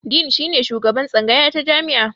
Din shine shugaban tsangaya ta jami'a.